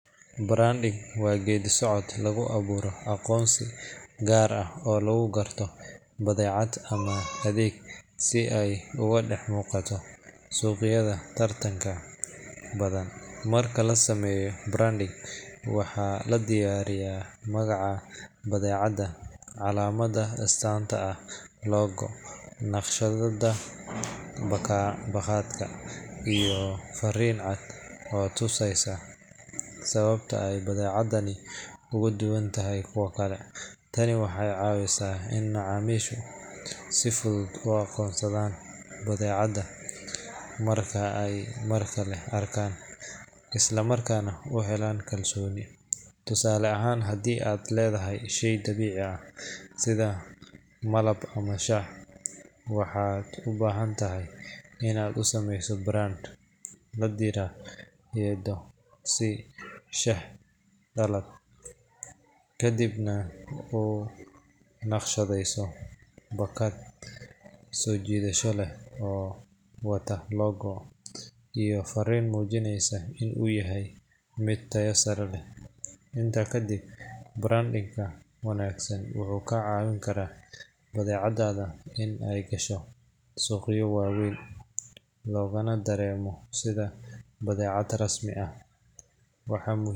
Branding waa geeddi-socodka lagu abuuro aqoonsi gaar ah oo lagu garto badeecad ama adeeg, si ay uga dhex muuqato suuqyada tartanka badan. Marka la sameeyo branding, waxaa la diyaariyaa magaca badeecadda, calaamadda astaanta ah (logo), naqshadda baakadka, iyo fariin cad oo tusaysa sababta ay badeecadani uga duwan tahay kuwa kale. Tani waxay caawisaa in macaamiishu si fudud u aqoonsadaan badeecadda marka ay mar kale arkaan, isla markaana u helaan kalsooni. Tusaale ahaan, haddii aad leedahay shey dabiici ah sida malab ama shaah, waxaad u baahan tahay in aad u sameyso brand la yiraahdo, sida "Shaah Dhalad", kadibna u naqshadeyso baakad soo jiidasho leh oo wata logo iyo farriin muujinaysa in uu yahay mid tayo sare leh. Intaa kadib, branding-ka wanaagsan wuxuu ka caawin karaa badeecaddaada in ay gasho suuqyo waaweyn, loogana dareemo sida badeecad rasmi ah. Waxaa muhii.